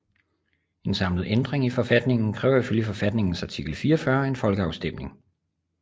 En samlet ændring af forfatningen kræver i følge forfatningens artikel 44 en folkeafstemning